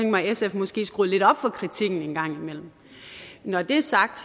mig at sf måske skruede lidt op for kritikken en gang imellem når det er sagt